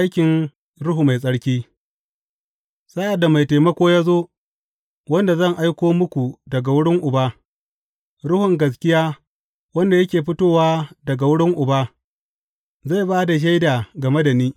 Aikin Ruhu Mai Tsarki Sa’ad da Mai Taimako ya zo, wanda zan aiko muku daga wurin Uba, Ruhun gaskiya wanda yake fitowa daga wurin Uba, zai ba da shaida game da ni.